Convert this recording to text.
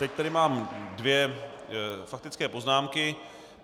Teď tady mám dvě faktické poznámky.